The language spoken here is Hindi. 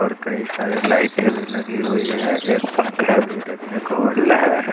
और कई सारे लाइटे भी लगी हुई है एक पंखा भी देखने को मिल रहा है।